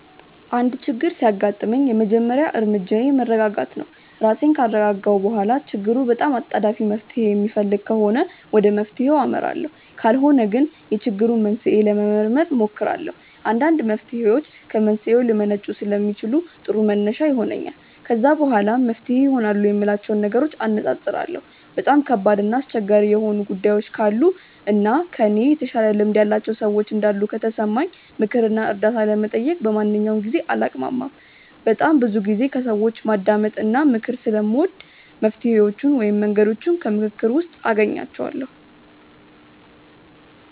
አንድ ችግር ሲያጋጥመኝ የመጀመሪያ እርምጃዬ መረጋጋት ነው። ራሴን ካረጋጋሁ በኋላ ችግሩ በጣም አጣዳፊ መፍትሔ የሚፈልግ ከሆነ ወደ መፍትሔው አመራለሁ ካልሆነ ግን የችግሩን መንስኤ ለመመርመር እሞክራለሁ። አንዳንድ መፍትሔዎች ከመንስኤው ሊመነጩ ስለሚችሉ ጥሩ መነሻ ይሆነኛል። ከዛ በኋላ መፍትሄ ይሆናሉ የምላቸውን ነገሮች አነፃፅራለሁ። በጣም ከባድ እና አስቸጋሪ የሆኑ ጉዳዮች ካሉ እና ከእኔ የተሻለ ልምድ ያላቸው ሰዎች እንዳሉ ከተሰማኝ ምክር እና እርዳታ ለመጠየቅ በማንኛውም ጊዜ አላቅማማም። በጣም ብዙ ጊዜ ከሰዎች ማዳመጥ እና ምክር ስለምወድ መፍትሔዎቹን ወይም መንገዶቹን ከምክክር ውስጥ አገኛቸዋለሁ።